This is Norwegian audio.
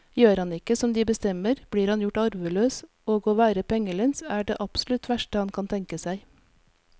Gjør han ikke som de bestemmer, blir han gjort arveløs, og å være pengelens er det absolutt verste han kan tenke seg.